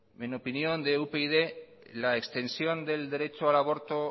en opinión de upyd la extensión del derecho al aborto